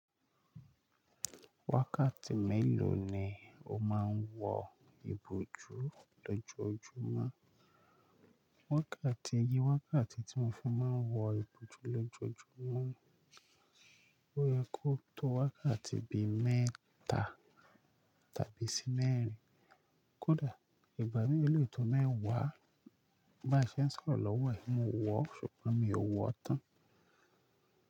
Wákàtí mélòó ni o máa ń wo ibòjú lójoojúmọ́? Wákàtí, iye wákàtí tí mo fi máa ń wo ibòjú lójoojúmọ́ ó yẹ kó tó wákàtí bi mẹ́ta tàbí sí mẹ́rin. Kódà ìgbà mìíràn ó lé tò mẹwà, bá ṣe sọ̀rọ̀ lọ́wọ́ yìí, mo wọ̀ ọ́ ṣùgbọ́n mi ò wọ ọ́ tán.